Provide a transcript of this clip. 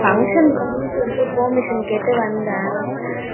function னு போனும்னு சொல்லிட்டு permission கேட்டு வந்தே.